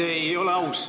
Miks te ei ole aus?